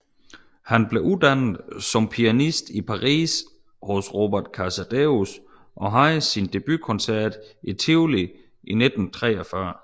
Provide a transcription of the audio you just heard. Han blev uddannet som pianist i Paris hos Robert Casadesus og havde sin debutkoncert i Tivoli i 1934